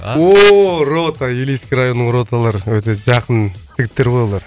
ооо рота илийский районның роталары өте жақын жігіттер ғой олар